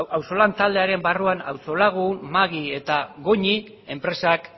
auzolan taldearen barruan auzo lagun magui eta goñi enpresak